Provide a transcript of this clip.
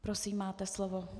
Prosím, máte slovo.